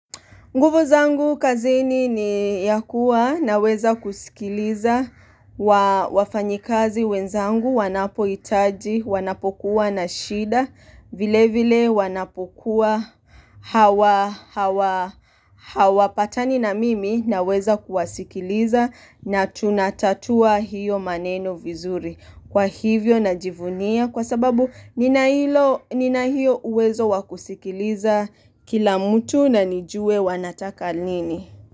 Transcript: Nguvu zangu kazini ni ya kuwa naweza kusikiliza wafanyikazi wenzangu wanapohitaji wanapokuwa na shida vile vile wanapokuwa hawa hawa patani na mimi naweza kuwasikiliza na tunatatua hiyo maneno vizuri. Kwa hivyo najivunia kwa sababu nina hiyo uwezo wakusikiliza kila mtu na nijue wanataka nini.